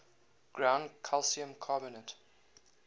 ground calcium carbonate